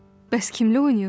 Bəs kimlə oynayırsan?